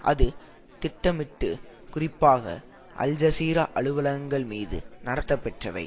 அது திட்டமிட்டு குறிப்பாக அல் ஜஸீரா அலுவலகங்கள் மீது நடத்தப்பெற்றவை